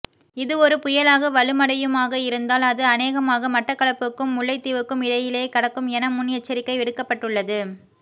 இது ஒரு புயலாக வலுமடையுமாக இருந்தால் அது அநேகமாக மட்டக்களப்புக்கும் முல்லைத்தீவுக்கும் இடையிலே கடக்கும் என முன் எச்சரிக்கை விடுக்கப்பட்டுள்ளது